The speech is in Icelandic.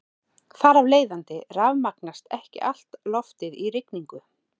Þar af leiðandi rafmagnast ekki allt loftið í rigningu.